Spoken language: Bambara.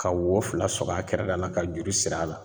Ka wo fila sɔrɔ a kɛrɛda la ka juru sir'a la